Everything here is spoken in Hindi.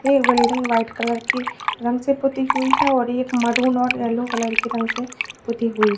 एक बिल्डिंग व्हाइट कलर के रंग से पूती हुई है और मरून और यलो कलर के रंग से पूती हुई है।